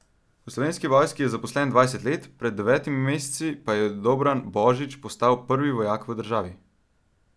V Slovenski vojski je zaposlen dvajset let, pred devetimi meseci pa je Dobran Božič postal prvi vojak v državi.